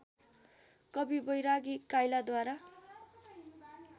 कवि बैरागी काँइलाद्वारा